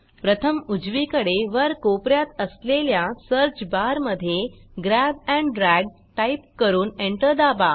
प्रथम उजवीकडे वर कोप यात असलेल्या सर्च बार मधे ग्रॅब एंड ड्रॅग टाईप करून एंटर दाबा